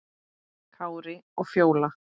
Kári og Fjóla.